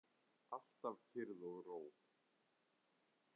Alltaf kyrrð og ró.